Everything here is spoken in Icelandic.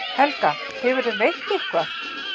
Helga: Hefurðu veitt eitthvað?